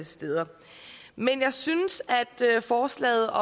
steder men jeg synes at forslaget